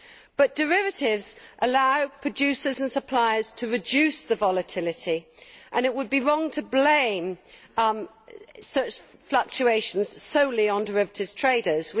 But derivatives allow producers and suppliers to reduce the volatility and it would be wrong to blame such fluctuations solely on derivatives traders.